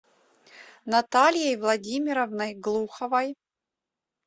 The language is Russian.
натальей владимировной глуховой